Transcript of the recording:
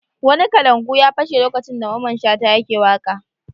Wani kalangu ya fashe lokacin da Mamman Shata yake waƙa.